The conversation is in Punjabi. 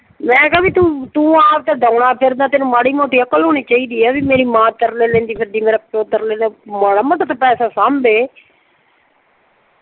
ਮੈਂ ਕਿਹਾ ਵੀ ਤੂੰ ਤੂੰ ਆਪ ਤਾਂ ਡਾਓਣਾ ਫਿਰਦਾ ਤੈਨੂੰ ਆਪ ਵੀ ਮਾੜੀ ਮੋਟੀ ਅਕਲ ਹੋਣੀ ਚਾਹੀਦੀ ਆ ਵੀ ਮੇਰੀ ਮਾਂ ਤਰਲੇ ਲੈਂਦੀ ਫਿਰਦੀ, ਮੇਰਾ ਪਿਓ ਤਰਲੇ ਲੈਂਦਾ ਫਿਰਦਾ। ਮਾੜਾ ਮੋਟਾ ਤਾਂ ਪੈਸਾ ਸਾਂਭੇ